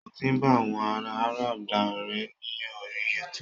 Mo ti bá àwọn ará Arab dá ọ̀rẹ́ ní orí youtube